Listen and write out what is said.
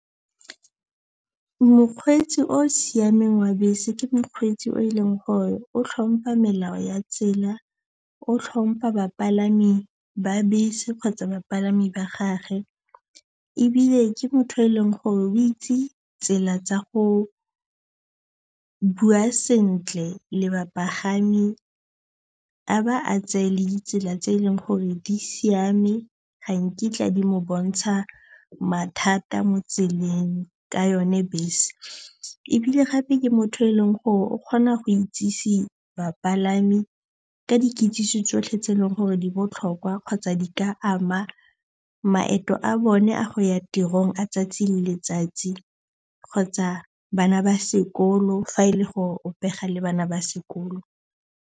Mokgweetsi o o siameng wa bese ke mokgweetsi o e leng gore o tlhompa melao ya tsela, o tlhompa bapalami ba bese kgotsa bapalami ba gage ebile ke motho yo e leng gore o itse tsela tsa go bua sentle le bapagami. A ba a tseye le ditsela tse e leng gore di siame ga nkitla di mo bontsha mathata mo tseleng ka yone bese. Ebile gape ke motho o e leng gore o kgona go itsise bapalami ka dikitsiso tsotlhe tse e leng gore di botlhokwa kgotsa di ka ama maeto a bone a go ya tirong a 'tsatsi le letsatsi kgotsa bana ba sekolo fa e le gore o pega le bana ba sekolo.